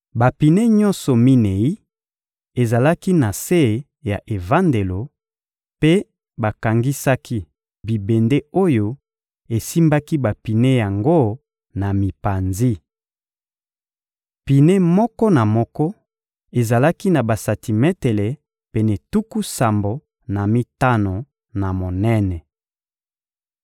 Bapine nyonso minei ezalaki na se ya evandelo, mpe bakangisaki bibende oyo esimbaki bapine yango na mipanzi. Pine moko na moko ezalaki na basantimetele pene tuku sambo na mitano na monene.